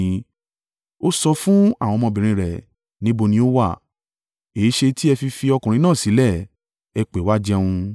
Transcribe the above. Ó sọ fún àwọn ọmọbìnrin rẹ̀, “Níbo ni ó wà? Èéṣe ti ẹ fi fi ọkùnrin náà sílẹ̀? Ẹ pè é wá jẹun.”